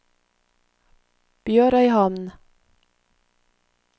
BjørØyhamn